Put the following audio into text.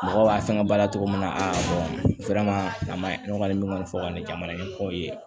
Mɔgɔ b'a fɛnkɛ baara togo min na a ma nɔgɔ ni min kɔni fɔ ka ni jamana ɲɛmɔgɔw ye